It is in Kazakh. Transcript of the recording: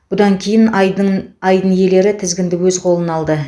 бұдан кейін айдын айдын иелері тізгінді өз қолына алды